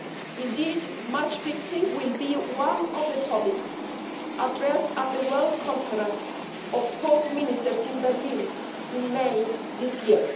Indeed, match fixing will be one of the topics addressed at the World Conference of Sports Ministers in Berlin in May this year.